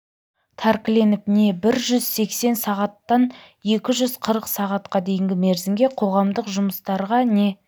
тәркіленіп не бір жүз сексен сағаттан екі жүз қырық сағатқа дейінгі мерзімге қоғамдық жұмыстарға не